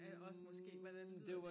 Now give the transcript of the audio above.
Og også måske hvordan lyder det